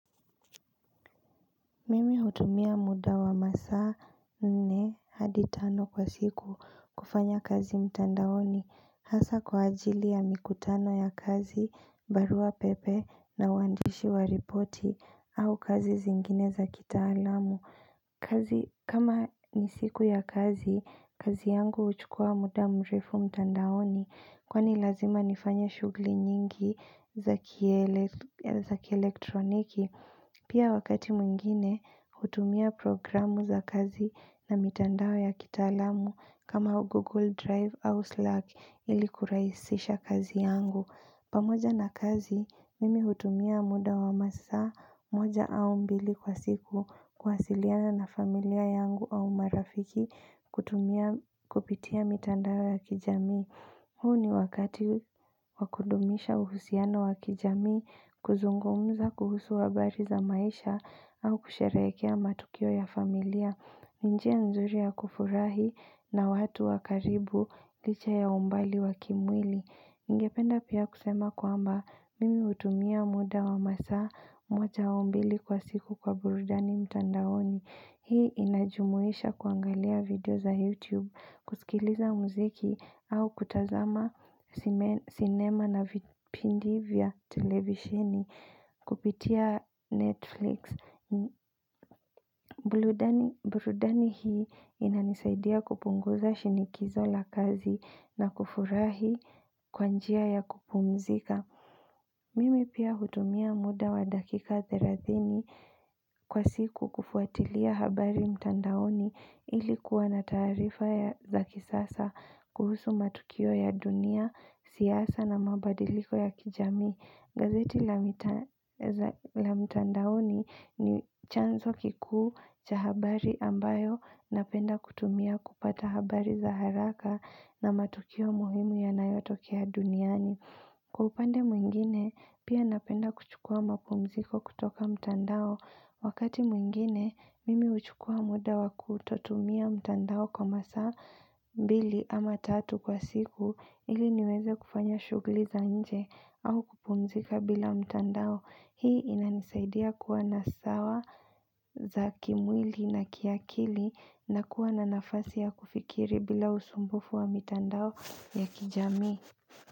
Mimi hutumia muda wa masaa nne hadi tano kwa siku kufanya kazi mtandaoni hasa kwa ajili ya mikutano ya kazi barua pepe na uandishi wa ripoti au kazi zingine za kitaalamu kazi kama ni siku ya kazi, kazi yangu huchukua muda mrefu mtandaoni kwani lazima nifanya shughuli nyingi za kielektroniki. Pia wakati mwingine, hutumia programu za kazi na mitandao ya kitaalamu kama Google Drive au Slack ili kurahisisha kazi yangu. Pamoja na kazi, mimi hutumia muda wa masaa, moja au mbili kwa siku, kuwasiliana na familia yangu au marafiki kutumia kupitia mitandao ya kijamii. Huu ni wakati wa kudumisha uhusiano wa kijamii, kuzungumza kuhusu habari za maisha au kusherekea matukio ya familia. Ni njia nzuri ya kufurahi na watu wa karibu, licha ya umbali wa kimwili. Ningependa pia kusema kwamba mimi hutumia muda wa masaa moja au mbili kwa siku kwa burudani mtandaoni. Hii inajumuisha kuangalia video za YouTube, kusikiliza muziki au kutazama cinema na vipindi vya televisheni kupitia Netflix. Burudani hii inanisaidia kupunguza shinikizo la kazi na kufurahi kwa njia ya kupumzika Mimi pia hutumia muda wa dakika 30 kwa siku kufuatilia habari mtandaoni ili kuwa na taarifa za kisasa kuhusu matukio ya dunia, siyasa na mabadiliko ya kijamii gazeti la mtandaoni ni chanzo kikuu cha habari ambayo napenda kutumia kupata habari za haraka na matukio muhimu yanayotokea duniani. Kwa upande mwingine, pia napenda kuchukua mapumziko kutoka mtandao. Wakati mwingine, mimi huchukua muda wa kutotumia mtandao kwa masaa mbili ama tatu kwa siku ili niweze kufanya shughuli za nje au kupumzika bila mtandao. Hii inanisaidia kuwa na sawa za kimwili na kiakili na kuwa na nafasi ya kufikiri bila usumbufu wa mtandao ya kijamii.